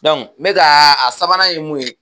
Dɔnku n be k'a a sabanan ye mun ye